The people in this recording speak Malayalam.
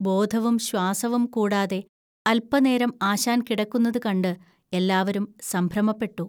ബോധവും ശ്വാസവും കൂടാതെ അൽപനേരം ആശാൻ കിടക്കുന്നതുകണ്ട് എല്ലാവരും സംഭ്രമപ്പെട്ടു